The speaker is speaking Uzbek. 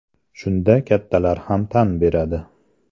Shunda kattalar ham tan beradi.